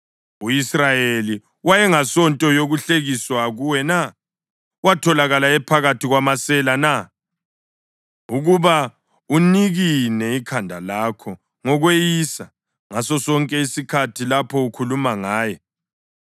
U-Israyeli wayengasinto yokuhlekisa kuwe na? Watholakala ephakathi kwamasela na, ukuba unikine ikhanda lakho ngokweyisa ngasosonke isikhathi lapho ukhuluma ngaye?